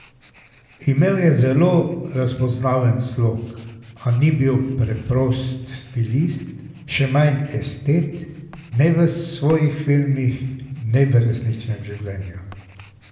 Imel je zelo razpoznaven slog, a ni bil preprost stilist, še manj estet, ne v svojih filmih ne v resničnem življenju.